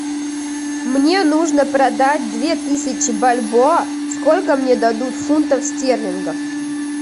мне нужно продать две тысячи бальбоа сколько мне дадут фунтов стерлингов